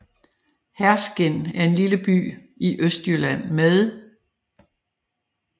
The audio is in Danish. Herskind er en lille by i Østjylland med